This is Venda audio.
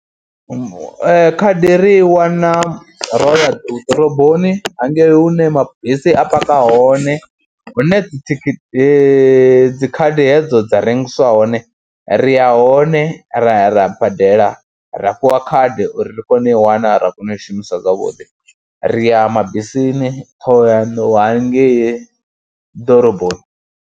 Khadi ri i wana ro ya ḓoroboni hangei hune mabisi a paka hone, hune dzithithithi, dzi khadi hedzo dza rengiswa hone, ri ya hone ra ya ra badela ra fhiwa khadi uri ri kone u i wana, ra kona u i shumisa zwavhuḓi. Ri ya mabisini Ṱhohoyandou hangei ḓoroboni.